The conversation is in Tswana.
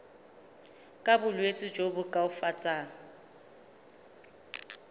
ka bolwetsi jo bo koafatsang